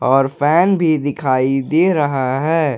और फैन भी दिखाई दे रहा है।